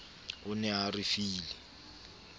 o ne a re file